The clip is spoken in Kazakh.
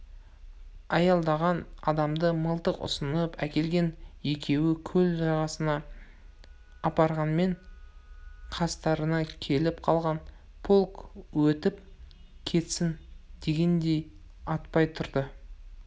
айдалған адамды мылтық ұсынып әкелген екеуі көл жағасына апарғанмен қастарына келіп қалған -полк өтіп кетсін дегендей атпай тұрды